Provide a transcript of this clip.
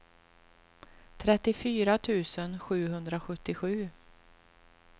trettiofyra tusen sjuhundrasjuttiosju